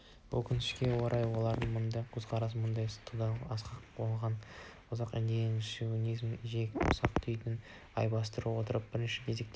өкінішке орай олар мұндай көзқарастарымен ұлттық тудағы асқақ озық жоғарғы идеяны шовинизмнің жиіркенішті ұсақ-түйегіне айырбастай отырып бірінші кезекте